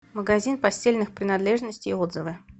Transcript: магазин постельных принадлежностей отзывы